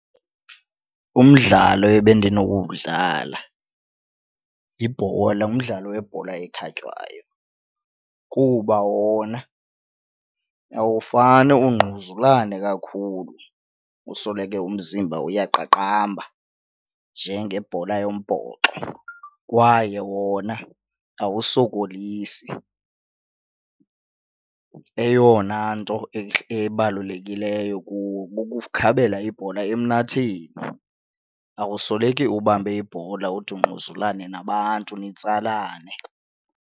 Umdlalo ebendinokuwudlala yibhola ngumdlalo webhola ekhatywayo kuba wona awufane ungquzulane kakhulu usoloko umzimba uyaqaqamba njengebhola yombhoxo kwaye wona awusokolisi. Eyona nto ebalulekileyo kuwo kukukhabela ibhola emnatheni awusoloke ubambe ibhola ude ungquzulane nabantu nitsalane.